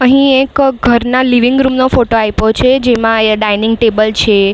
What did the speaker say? અહીં એક ઘરના લિવિંગ રૂમ નો ફોટો આઇપો છે જેમાં અહીંયા ડાઇનિંગ ટેબલ છે.